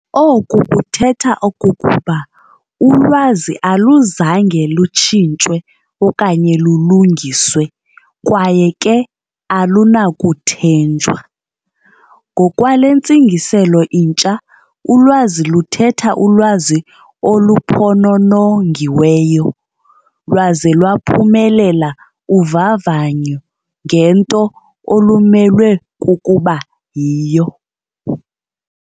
"" Oko kuthetha okokuba ulwazi aluzange lutshintshwe okanye lulungiswe, kwaye ke alunakuthenjwa. Ngokwale ntsingiselo intsha, ulwazi luthetha ulwazi oluphononongiweyo, lwaze lwaphumelela uvavanyo ngento olumelwe kukuba yiyo.